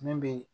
Min be